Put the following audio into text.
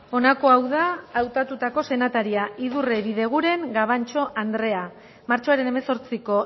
honako hau da hautatutako senataria idurre bideguren gabantxo andrea martxoaren hemezortziko